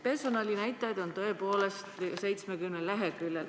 Personalinäitajaid on tõepoolest 70 leheküljel.